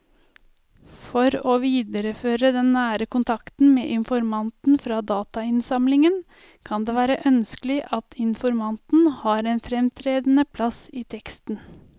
For å videreføre den nære kontakten med informanten fra datainnsamlingen kan det være ønskelig at informanten har en fremtredende plass i teksten.